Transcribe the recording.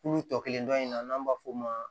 Kulu tɔ kelen dɔ in na n'an b'a f'o ma